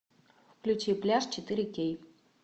включи пляж четыре кей